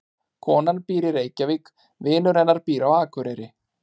Konan býr í Reykjavík. Vinur hennar býr á Akureyri.